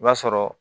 I b'a sɔrɔ